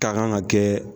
Ka kan ka kɛ